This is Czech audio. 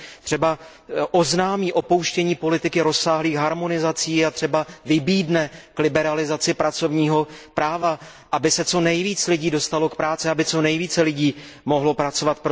Třeba oznámí upuštění od politiky rozsáhlých harmonizací a třeba vybídne k liberalizace pracovního práva, aby co nejvíce lidí dostalo práci, aby co nejvíce lidí mohlo pracovat.